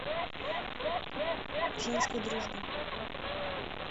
женская дружба